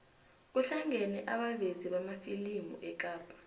kuhlangene abavezi bamafilimu ekapa